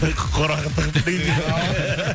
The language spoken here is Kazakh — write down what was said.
қораға тығып